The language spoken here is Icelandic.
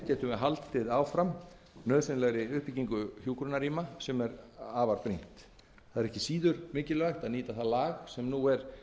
við haldið áfram nauðsynlegri uppbyggingu hjúkrunarrýma sem er afar brýnt virðulegi forseti það er